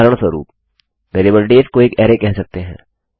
उदाहरणस्वरूप variable days को एक अरैकह सकते हैं